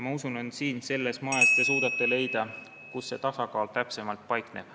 Ma usun, et siin, selles majas, te suudate leida, kus see tasakaal täpsemalt paikneb.